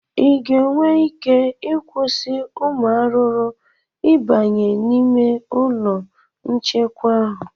ị ga-enwe ike ịkwụsị ụmụ arụrụ ịbanye n'ime ụlọ nchekwa ahụ?